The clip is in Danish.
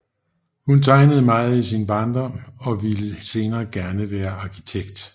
Hun tegnede meget i hendes barndom og ville senere gerne være arkitekt